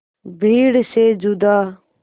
भीड़ से जुदा